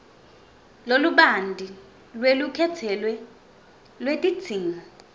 lolubanti lwelukhetselo lwetidzingo